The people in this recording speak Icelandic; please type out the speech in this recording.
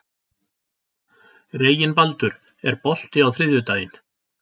Reginbaldur, er bolti á þriðjudaginn?